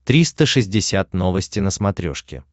триста шестьдесят новости на смотрешке